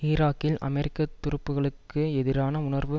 ஈராக்கில் அமெரிக்க துருப்புக்களுக்கு எதிரான உணர்வு